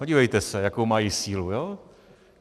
Podívejte se, jakou mají sílu!